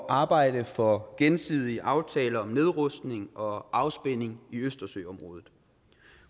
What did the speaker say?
arbejde for gensidige aftaler om nedrustning og afspænding i østersøområdet